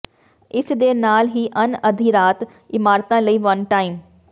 ਇਸਦੇ ਨਾਲ ਹੀ ਅਣ ਅਧਿਰਾਤ ਇਮਾਰਤਾਂ ਲਈ ਵਨ ਟਾਈਮ